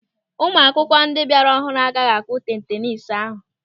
Ụmụ akwụkwọ ndị bịara ọhụrụ agaghị akụ tenis ahụ.